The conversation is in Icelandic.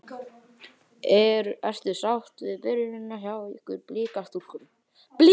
Ertu sátt við byrjunina hjá ykkur Blikastúlkum?